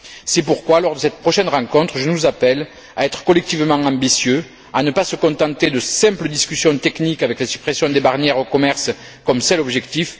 C'est pourquoi, lors de cette prochaine rencontre, je nous appelle à être collectivement ambitieux, à ne pas nous contenter de simples discussions techniques avec les suppressions des barrières au commerce comme c'est l'objectif.